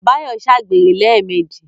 Báyọ̀ ṣàgbèrè lẹ́ẹ̀mejì.